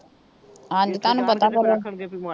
ਹਾਂਜੀ, ਤੁਹਾਨੂੰ ਪਤਾ ਫਿਰ